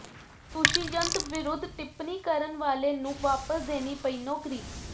ਦੁਸ਼ਿਯੰਤ ਵਿਰੁਧ ਟਿਪਣੀ ਕਰਨ ਵਾਲੇ ਨੂੰ ਵਾਪਸ ਦੇਣੀ ਪਈ ਨੌਕਰੀ